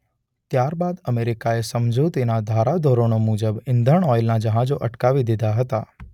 ત્યારબાદ અમેરિકાએ સમજૂતીના ધારાધોરણો મુજબ ઇંધણ ઓઇલના જહાજો અટકાવી દીધા હતા.